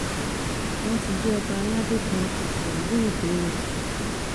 wọn ti jí ọba aládé kan àtìyàwó ẹ gbé o